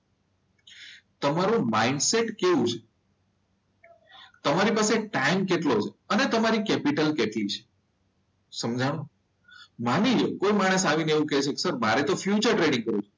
તમારે મારી સેટ કેવું છે? તમારી પાસે ટાઈમ કેટલો છે મને તમારી કેપિટલ કેટલી છે? સમજાણું? માની લો કે કોઈ માણસ આવીને તમને એવું કહે છે મારે તો ફ્યુચર ટ્રેડિંગ કરવું છે.